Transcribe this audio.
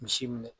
Misi minɛ